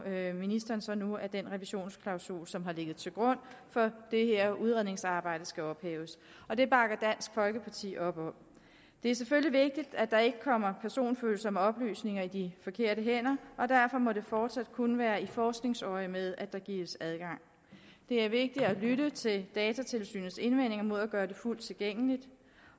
ministeren så nu at den revisionsklausul som har ligget til grund for det her udredningsarbejde skal ophæves og det bakker dansk folkeparti op om det er selvfølgelig vigtigt at der ikke kommer personfølsomme oplysninger i de forkerte hænder og derfor må det fortsat kun være i forskningsøjemed at der gives adgang det er vigtigt at lytte til datatilsynets indvendinger mod at gøre det fuldt tilgængeligt